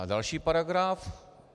A další paragraf.